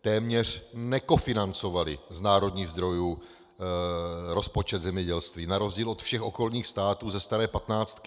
téměř nekofinancovali z národních zdrojů rozpočet zemědělství na rozdíl od všech okolních států ze staré patnáctky.